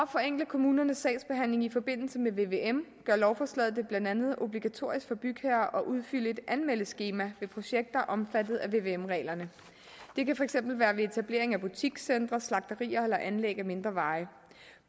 forenkle kommunernes sagsbehandling i forbindelse med vvm gør lovforslaget det blandt andet obligatorisk for bygherrer at udfylde et anmeldeskema ved projekter omfattet af vvm reglerne det kan for eksempel være ved etablering af butikscentre slagterier eller anlæg af mindre veje